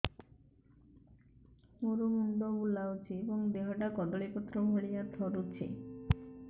ମୋର ମୁଣ୍ଡ ବୁଲାଉଛି ଏବଂ ଦେହଟା କଦଳୀପତ୍ର ଭଳିଆ ଥରୁଛି